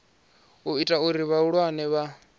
u ita uri vhaaluwa vha